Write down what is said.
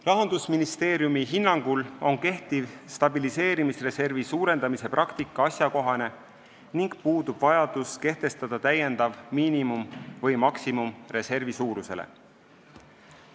" Rahandusministeeriumi hinnangul on stabiliseerimisreservi suurendamise praktika asjakohane ning puudub vajadus kehtestada täiendav miinimum või maksimum reservi suurusele.